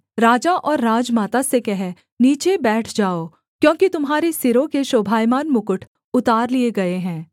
राजा और राजमाता से कह नीचे बैठ जाओ क्योंकि तुम्हारे सिरों के शोभायमान मुकुट उतार लिए गए हैं